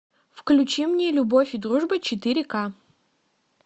включи мне любовь и дружба четыре ка